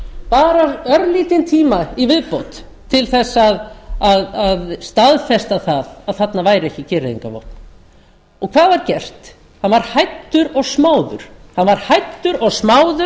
bara örlítinn tíma í viðbót til þess að staðfesta það að þarna væru ekki gereyðingarvopn hvað var gert hann var hæddur og smáður